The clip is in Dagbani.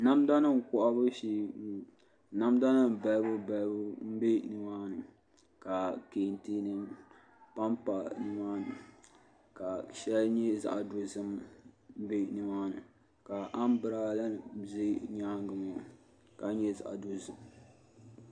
Namda nim kohabu shee n bɔŋɔ namda nim balibu balibu bɛ nimaani ka kɛntɛ nim panpa nimaani ka shɛli nyɛ zaɣ dozim bɛ nimaani ka anbirala nim ʒɛ nyaangi maa ka nyɛ zaɣ dozim